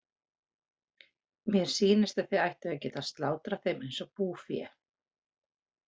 Mér sýnist að þið ættuð að geta slátrað þeim eins og búfé.